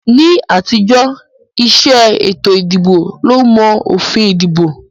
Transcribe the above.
Ní àtijọ́, ìṣe ètò ìdìbò ló mọ òfin ìdìbò